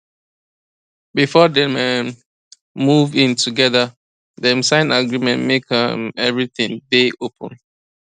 before dem um move in togetherdem sign agreement make um everything day open